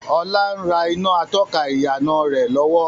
Ọlá ń rà iná atọ́ka ìyànà rẹ lọ́wọ́